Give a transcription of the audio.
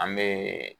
An bɛ